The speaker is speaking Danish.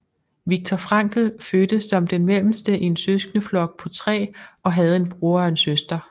Viktor Frankl fødtes som den mellemste i en søskendeflok på tre og havde en bror og en søster